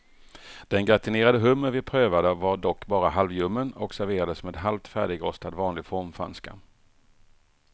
Den gratinerade hummer vi prövade var dock bara halvljummen och serverades med halvt färdigrostad vanlig formfranska.